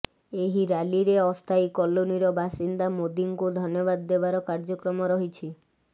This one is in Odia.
ଏହି ରାଲିରେ ଅସ୍ଥାୟୀ କଲୋନିର ବାସିନ୍ଦା ମୋଦିଙ୍କୁ ଧନ୍ୟବାଦ ଦେବାର କାର୍ଯ୍ୟକ୍ରମ ରହିଛି